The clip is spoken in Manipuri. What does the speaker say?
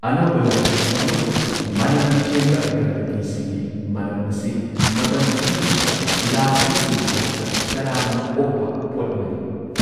ꯑꯅꯧꯕ ꯂꯥꯢꯁꯪ ꯑꯃꯁꯨꯡ ꯃꯅꯝ ꯆꯦꯟꯕ ꯑꯒꯔꯕꯇꯤꯁꯤꯡꯒꯤ ꯃꯅꯝ ꯑꯁꯤ ꯃꯇꯝ ꯄꯨꯝꯅꯃꯛꯇ ꯂꯥꯛꯂꯤꯕꯁꯤꯡꯒꯤꯗꯃꯛꯇ ꯇꯔꯥꯝꯅ ꯑꯣꯛꯄ ꯄꯣꯠ ꯑꯃꯅꯤ꯫